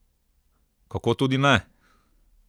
Kako tudi ne?